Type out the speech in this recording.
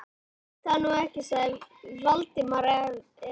Ég veit það nú ekki sagði Valdimar efins.